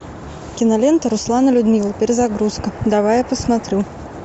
кинолента руслан и людмила перезагрузка давай я посмотрю